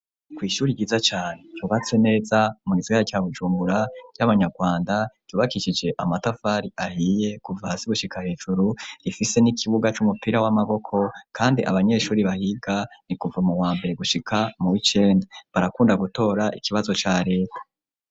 Kw'ishuri ryiza cane ryubatse neza mu gisagara ca Bujumbura ry'abanyarwanda ryubakishije amatafari ahiye kuva hasi gushika hejuru rifise n'ikibuga c'umupira w'amaboko kandi abanyeshuri bahiga ni kuva mu wa mbere gushika muw'icenda barakunda gutora ikibazo ca leta.